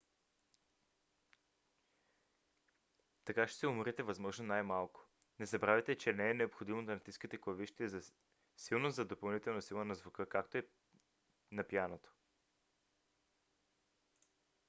така ще се уморите възможно най-малко. не забравяйте че не е необходимо да натискате клавишите силно за допълнителна сила на звука както е на пианото